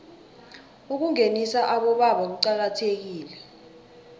ukungenisa abobaba kuqakathekile